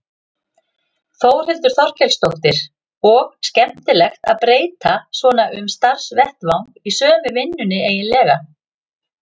Þórhildur Þorkelsdóttir: Og skemmtilegt að breyta svona um starfsvettvang í sömu vinnunni eiginlega?